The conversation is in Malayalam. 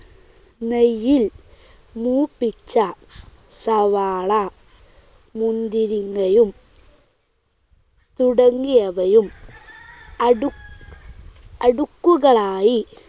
നെയ്യിൽ മൂപ്പിച്ച സവാള, മുന്തിരിങ്ങയും തുടങ്ങിയവയും അടു അടുക്കുകളായി